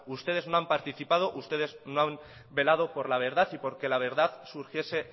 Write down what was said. ustedes no han participado ustedes no han velado por la verdad y porque la verdad surgiese